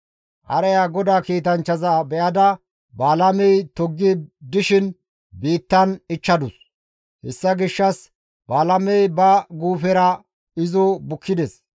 Hareya GODAA kiitanchchaza be7ada Balaamey toggi dishin biittan ichchadus; hessa gishshas Balaamey ba guufera izo bukkides.